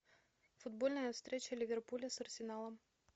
футбольная встреча ливерпуля с арсеналом